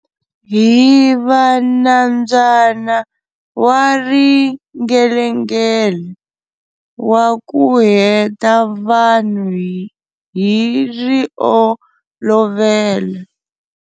Hi va Nambyana Wa Ringelengela Waku Ku Heta Vanhu Hi Riolovela.